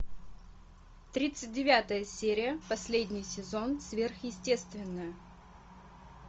тридцать девятая серия последний сезон сверхъестественное